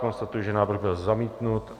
Konstatuji, že návrh byl zamítnut.